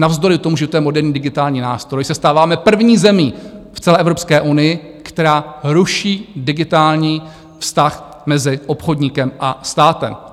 Navzdory tomu, že to je moderní digitální nástroj, se stáváme první zemí v celé Evropské unii, která ruší digitální vztah mezi obchodníkem a státem.